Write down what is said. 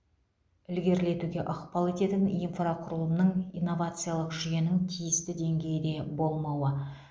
ілгерілетуге ықпал ететін инфрақұрылымның инновациялық жүйенің тиісті деңгейде болмауы